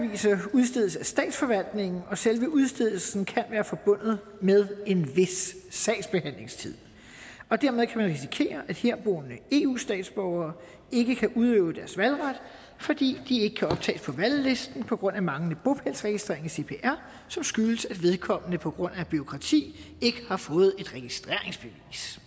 udstedes af statsforvaltningen og selve udstedelsen kan være forbundet med en vis sagsbehandlingstid dermed kan man risikere at herboende eu statsborgere ikke kan udøve deres valgret fordi de ikke kan optages på valglisten på grund af manglende bopælsregistrering i cpr som skyldes at vedkommende på grund af bureaukrati ikke har fået et registreringsbevis